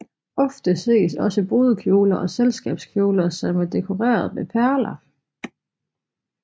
Ofte ses også brudekjoler og selskabskjoler som er dekoreret med perler